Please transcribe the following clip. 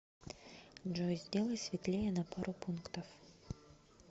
джой сделай светлее на пару пунктов